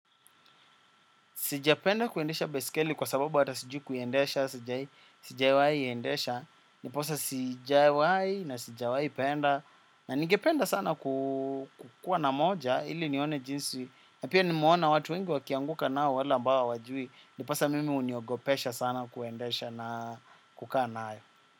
Sijapenda kuendesha baisikeli kwa sababu hata sijui kuiendesha, sijai, sijai iendesha, ndiposa sijawai na sijawai penda, na ningependa sana kukua na moja, ili nione jinsi, na pia nimeona watu wengi wakianguka nao wala ambao hawajui, ndiposa mimi huniogopesha sana kuendesha na kukaa nayo.